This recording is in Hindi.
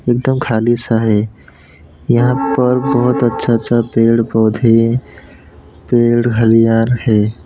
एकदम खाली सा है यहां पर बहुत अच्छा सा पेड़ पौधे पेड़ हरियार है।